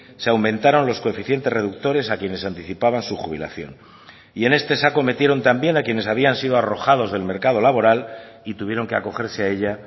se aumentaron los coeficientes reductores a quienes anticipaban su jubilación y en este saco metieron también a quienes habían sido arrojados del mercado laboral y tuvieron que acogerse a ella